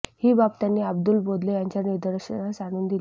ही बाब त्यांनी अब्दुल बोदले यांच्या निदर्शनास आणून दिली